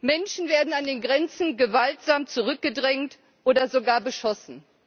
Menschen werden an den Grenzen gewaltsam zurückgedrängt oder sogar beschossen.